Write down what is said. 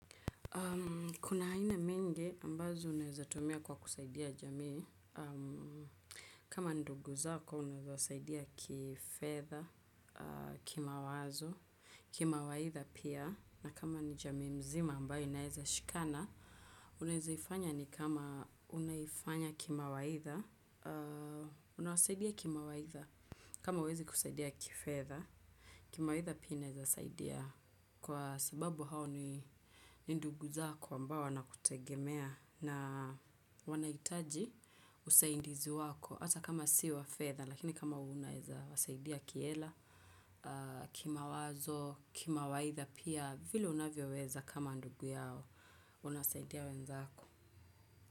Kuna haina mingi ambazo uneza tumia kwa kusaidia jamii. Kama ndugu zako uneza usaidia kifedha, kimwazo, kimawaitha pia. Na kama ni jamii mzima ambayo inezashikana, unezaifanya ni kama unaifanya kimawaitha, unawasaidia kimawaitha. Kama huwezi kusaidia kifedha, kimawaitha pia ineza saidia kwa sababu hao ni ndugu zako ambao wanakutegemea na wanaitaji usaidizi wako hata kama siwa fedha lakini kama unaeza wasaidia kiela, kimawazo, kimawaitha pia vile unavyo weza kama ndugu yao, unasaidia wenzako.